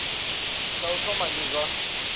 tsha u thoma ndi zwa